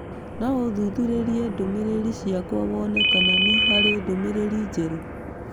No ũthuthurie ndũmĩrĩri ciakwa wone kana nĩ harĩ ndũmĩrĩri njerũ.